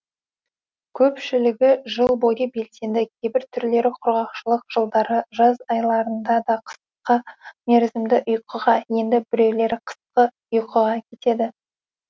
көпшілігі жыл бойы белсенді кейбір түрлері құрғақшылық жылдары жаз айларында да қысқа мерзімді ұйқыға енді біреулері қысқы ұйқыға кетеді